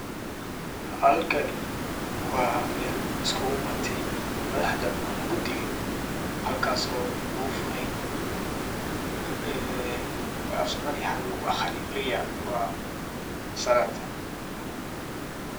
Halkani waa mel iskuguimaatey madhaxda ama gudiga halkas oo lagufurey prayer salaad.